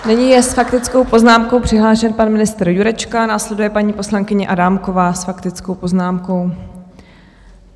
Nyní je s faktickou poznámkou přihlášen pan ministr Jurečka, následuje paní poslankyně Adámková s faktickou poznámkou.